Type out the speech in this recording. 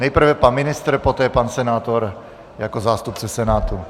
Nejprve pan ministr, poté pan senátor jako zástupce Senátu.